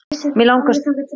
mig langar stundum til.